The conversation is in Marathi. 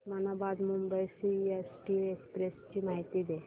उस्मानाबाद मुंबई सीएसटी एक्सप्रेस ची माहिती दे